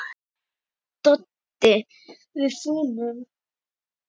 Doddi: Við fúnum.